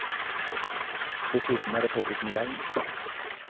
Dessuten er det påbudt med hjelm.